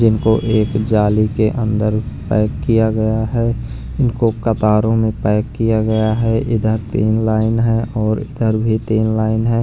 इनको एक जाली के अंदर पैक किया गया है इनको कतारों में पैक किया गया है इधर तीन लाइन है और इधर भी तीन लाइन है।